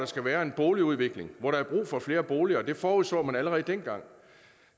skal være en boligudvikling hvor der er brug for flere boliger og det forudså man allerede dengang